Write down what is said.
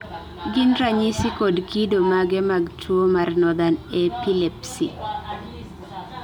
gin ranyisi kod kido mage mag tuwo mar Northern epilepsy?